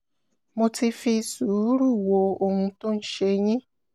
mo ti fi sùúrù wo ohun tó ń ṣe yín